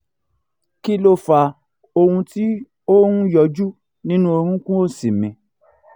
kí ló fa ohùn tí ó ń yọjú nínú orunkun òsì mi?